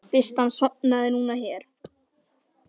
Fyrst hann sofnaði núna hér.